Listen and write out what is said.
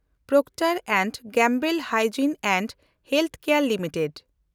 ᱯᱨᱳᱠᱴᱮᱱᱰ and Gamble hygiene and health care limited